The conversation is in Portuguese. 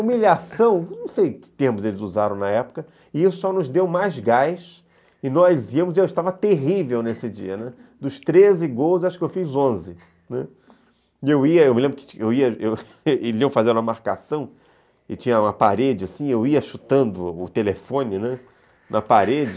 humilhação, não sei que termos eles usaram na época, e isso só nos deu mais gás, e nós íamos, e eu estava terrível nesse dia, dos treze gols, acho que eu fiz onze, e eu ia, eu me lembro que eles iam fazer uma marcação, e tinha uma parede assim, eu ia chutando o telefone na parede,